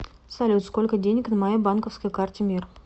салют сколько денег на моей банковской карте мир